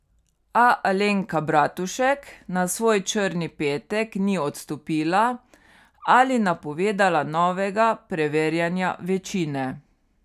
A Alenka Bratušek na svoj črni petek ni odstopila ali napovedala novega preverjanja večine.